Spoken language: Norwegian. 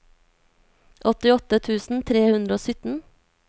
åttiåtte tusen tre hundre og sytten